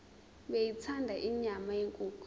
beyithanda inyama yenkukhu